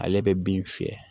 Ale bɛ bin fiyɛ